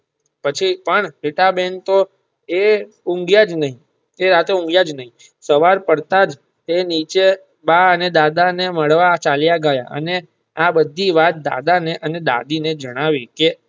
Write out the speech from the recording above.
પછી પણ રીટા બેન તો એ ઊંઘ્યાં જ નહિ એ રાત્રે ઉંધીયા જ નાઈ સવાર પડતાજ એ નીચે બા અને દાદા ને મળવા ચાલ્યા ગયા અને આ બધી વાત દાદા ને અને દાદી ને જણાવી કે